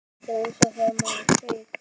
Þetta er eins og þegar maður kveik